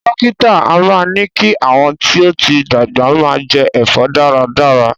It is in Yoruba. Dókítà a máa ní kí àwọn tí ó ti dàgbà máa jẹ ẹ̀fọ́ dára dára